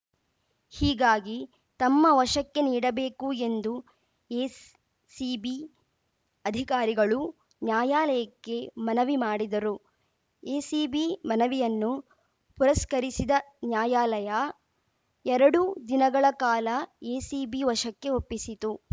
ಹೀಗಾಗಿ ತಮ್ಮ ವಶಕ್ಕೆ ನೀಡಬೇಕು ಎಂದು ಎ ಸ್ ಸಿಬಿ ಅಧಿಕಾರಿಗಳು ನ್ಯಾಯಾಲಯಕ್ಕೆ ಮನವಿ ಮಾಡಿದರು ಎಸಿಬಿ ಮನವಿಯನ್ನು ಪುರಸ್ಕರಿಸಿದ ನ್ಯಾಯಾಲಯ ಎರಡು ದಿನಗಳ ಕಾಲ ಎಸಿಬಿ ವಶಕ್ಕೆ ಒಪ್ಪಿಸಿತು